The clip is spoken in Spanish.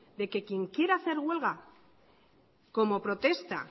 de que quien quiera hacer huelga como protesta